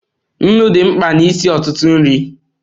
Nnu dị mkpa n'isi ọtụtụ nri.